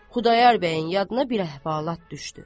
Xudayar bəyin yadına bir əhvalat düşdü.